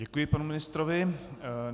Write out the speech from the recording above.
Děkuji panu ministrovi.